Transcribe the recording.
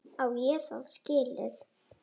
Á ég það skilið?